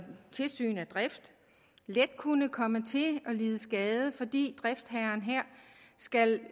tilsyn af drift let kunne komme til at lide skade fordi driftsherren her skal